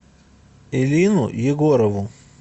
элину егорову